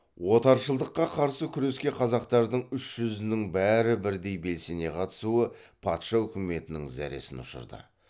отаршылдыққа қарсы күреске қазақтардың үш жүзінің бәрі бірдей белсене қатысуы патша үкіметінің зәресін ұшырды